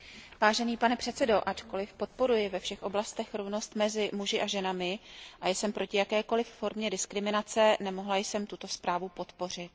Vážený pane předsedo, ačkoliv podporuji ve všech oblastech rovnost mezi muži a ženami a jsem proti jakékoliv formě diskriminace, nemohla jsem tuto zprávu podpořit.